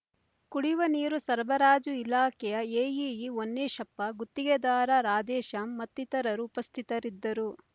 ಕುಡಿಯುವ ನೀರು ಸರಬರಾಜು ಇಲಾಖೆಯ ಎಇಇ ಹೋನ್ನೇಶಪ್ಪ ಗುತ್ತಿಗೆದಾರ ರಾಧೇಶ್ಯಾಮ್ ಮತ್ತಿತರರು ಉಪಸ್ಥಿತರಿದ್ದರು